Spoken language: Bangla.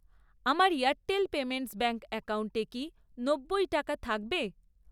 আমার এয়ারটেল পেমেন্টস ব্যাঙ্ক অ্যাকাউন্টে কি নব্বই টাকা থাকবে?